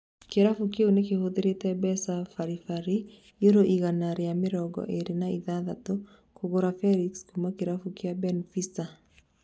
Kĩrabu kĩu nĩkĩhũthĩrĩte mbeca bari bari yuro igana rĩa mĩrongo ĩrĩ na ithathatũ kũgũra Felix kuma kĩrabu gĩa Benfica